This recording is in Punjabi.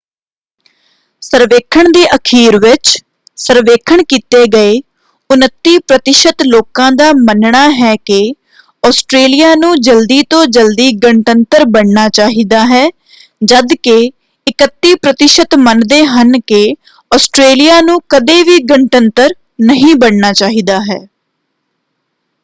ਸਰਵੇਖਣ ਦੇ ਅਖੀਰ ਵਿਚ ਸਰਵੇਖਣ ਕੀਤੇ ਗਏ 29% ਲੋਕਾਂ ਦਾ ਮੰਨਣਾ ਹੈ ਕਿ ਆਸਟਰੇਲੀਆ ਨੂੰ ਜਲਦੀ ਤੋਂ ਜਲਦੀ ਗਣਤੰਤਰ ਬਣਨਾ ਚਾਹੀਦਾ ਹੈ ਜਦਕਿ 31 ਪ੍ਰਤੀਸ਼ਤ ਮੰਨਦੇ ਹਨ ਕਿ ਆਸਟਰੇਲੀਆ ਨੂੰ ਕਦੇ ਵੀ ਗਣਤੰਤਰ ਨਹੀਂ ਬਣਨਾ ਚਾਹੀਦਾ ਹੈ